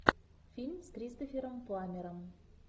фильм с кристофером пламмером